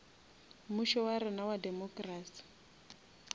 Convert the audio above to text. mmušo wa rena wa democracy